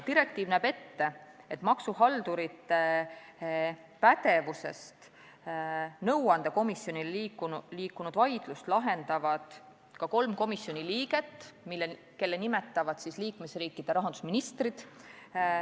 Direktiiv näeb ette, et maksuhaldurite pädevusest nõuandekomisjoni pädevusse läinud vaidlusi lahendavad ka kolm komisjoni liiget, kelle nimetavad liikmesriikide rahandusministrid.